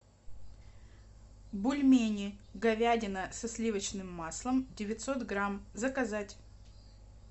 бульмени говядина со сливочным маслом девятьсот грамм заказать